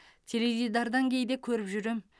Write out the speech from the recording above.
теледидардан кейде көріп жүрем